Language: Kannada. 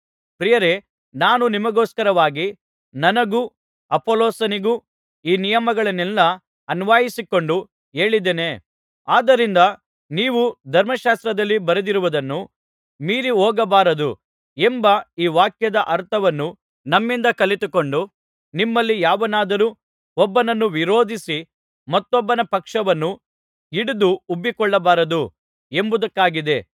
ಪ್ರಿಯರೇ ನಾನು ನಿಮಗೋಸ್ಕರವಾಗಿ ನನ್ನಗೂ ಅಪೊಲ್ಲೋಸನಿಗೂ ಈ ನಿಯಮಗಳನ್ನೆಲ್ಲಾ ಅನ್ವಯಿಸಿಕೊಂಡು ಹೇಳಿದ್ದೇನೆ ಆದ್ದರಿಂದ ನೀವು ಧರ್ಮಶಾಸ್ತ್ರದಲ್ಲಿ ಬರೆದಿರುವುದನ್ನು ಮೀರಿಹೋಗಬಾರದು ಎಂಬ ಈ ವಾಕ್ಯದ ಅರ್ಥವನ್ನು ನಮ್ಮಿಂದ ಕಲಿತುಕೊಂಡು ನಿಮ್ಮಲ್ಲಿ ಯಾವನಾದರೂ ಒಬ್ಬನನ್ನು ವಿರೋಧಿಸಿ ಮತ್ತೊಬ್ಬನ ಪಕ್ಷವನ್ನು ಹಿಡಿದು ಉಬ್ಬಿಕೊಳ್ಳಬಾರದು ಎಂಬುದಕ್ಕಾಗಿದೆ